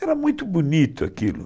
Era muito bonito aquilo.